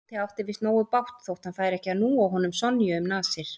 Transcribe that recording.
Tóti átti víst nógu bágt þótt hann færi ekki að núa honum Sonju um nasir.